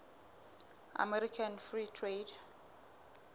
american free trade